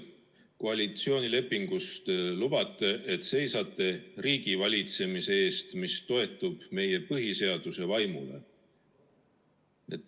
Koalitsioonilepingus lubatakse, et te seisate riigivalitsemise eest, mis toetub meie põhiseaduse vaimule.